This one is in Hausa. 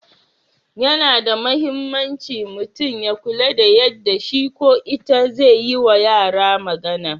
Yana da mahimmanci mutum ya kula da yadda shi/ita zai yi wa yara magana.